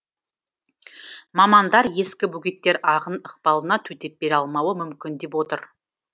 мамандар ескі бөгеттер ағын ықпалына төтеп бере алмауы мүмкін деп отыр